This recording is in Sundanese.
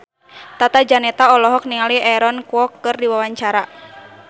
Tata Janeta olohok ningali Aaron Kwok keur diwawancara